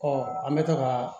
an bɛ taa ka